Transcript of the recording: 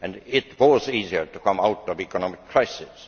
It was easier to come out of the economic crisis.